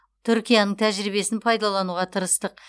түркияның тәжірибесін пайдалануға тырыстық